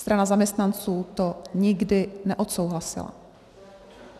Strana zaměstnanců to nikdy neodsouhlasila.